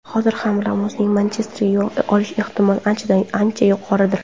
Hozir ham Ramosning Manchesterga yo‘l olish ehtimoli ancha yuqoridir.